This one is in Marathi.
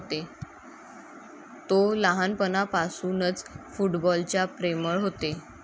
तो लहानपणापासूनच फुटबॉल च्या प्रेमळ होते.